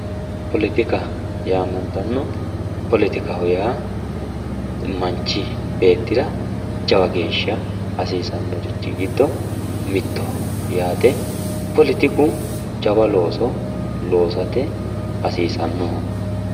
politikka yaa politikkaa yaamantanno politikaho yaa manchi beetira jawa geeshsha hasiisannorichi giddo mittoho yaate politiku jawa looso loosate hasiisannoho